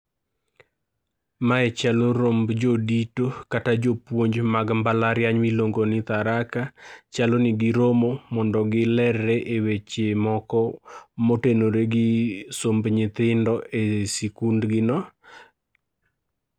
Mae chalo romb jodito kata jopuonj mag mbalariany miluongo ni Tharaka. Chalo ni giromo mondo giler re e weche moko motenore gi somb nyithindo e sikundgi no.